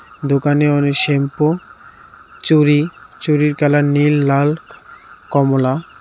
দোকানে অনেক শ্যাম্পু চুরি চুরির কালার নীল লাল কমলা.